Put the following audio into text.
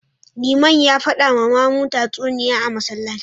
Liman ya fada ma mamu tatsuniya a Masallaci